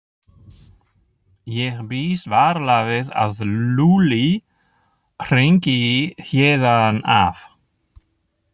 Ég býst varla við að Lúlli hringi héðan af.